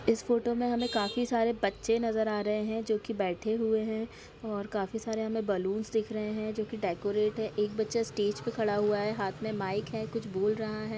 इस फोटो में हमें काफी सारे बच्चे नजर आ रहे हैं जो कि बैठे हुए हैं और काफी सारे हमें बैलून्स दिख रहे हैं जो कि डेकोरेट है एक बच्चा स्टेज पे खड़ा हुआ है हाथ में माइक है कुछ बोल रहा है।